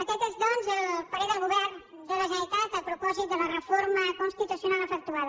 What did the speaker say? aquest és doncs el parer del govern de la generalitat a propòsit de la reforma constitucional efectuada